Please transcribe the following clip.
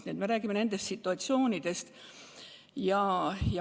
Nii et jutt on niisugustest situatsioonidest.